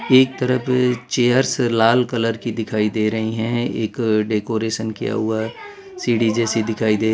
एक तरफ चेयर्स लाल कलर की दिखाई दे रही हैं एक डेकोरेशन किया हुआ सीढ़ी जैसी दिखाई दे रही --